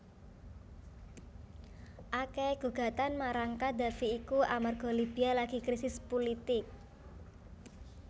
Akehe gugatan marang Qaddafi iku amarga Libya lagi krisis pulitik